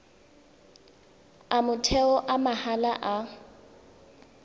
a motheo a mahala a